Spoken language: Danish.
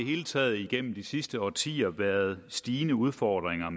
hele taget igennem de sidste årtier været stigende udfordringer